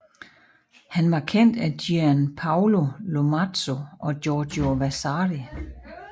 Han var kendt af Gian Paolo Lomazzo og Giorgio Vasari